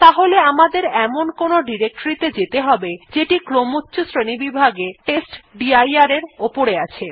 তাহলে আমাদের এমন কোনো ডিরেক্টরী ত়ে যেতে হবে যেটি ক্রমচ্ছ শ্রেণীবিভাগে testdir এর থেকে উপরে আছে